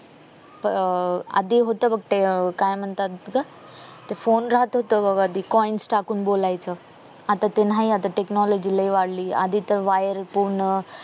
आधी होत बघ ते काय म्हणतात ग ते फोन राहत होत बघ आधी ते coins टाकून बोलायचं आता ते नाही आता ते technology लय वाढली आधी तर wire पूर्ण